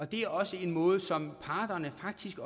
det er også en måde som parterne faktisk